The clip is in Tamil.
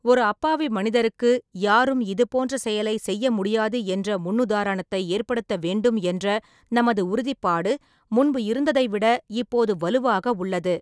ஒரு அப்பாவி மனிதருக்கு யாரும் இது போன்ற செயலை செய்ய முடியாது என்ற முன்னுதாரணத்தை ஏற்படுத்த வேண்டும் என்ற நமது உறுதிப்பாடு, முன்பு இருந்ததைவிட இப்போது வலுவாக உள்ளது.